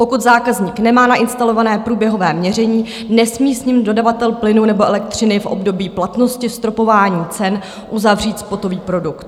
Pokud zákazník nemá nainstalované průběhové měření, nesmí s ním dodavatel plynu nebo elektřiny v období platnosti stropování cen uzavřít spotový produkt.